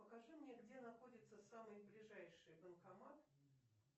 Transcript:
покажи мне где находится самый ближайший банкомат